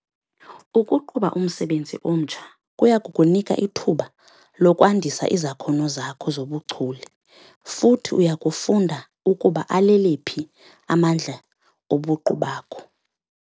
Ukuqhuba umsebenzi omtsha kuya kukunika ithuba lokwandisa izakhono zakho zobuchule futhi uya kufunda ukuba alele phi amandla obuqu bakho.